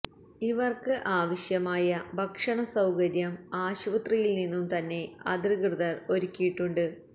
ഇവര്ക്ക് ആവശ്യമായ ഭക്ഷണ സൌകര്യം ആശുപത്രിയില് നിന്നും തന്നെ അധികൃതര് ഒരുക്കിയിട്ടുണ്ട്